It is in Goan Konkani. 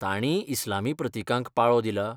तांणीय इस्लामी प्रतिकांक पाळो दिला?